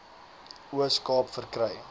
oos kaap verkry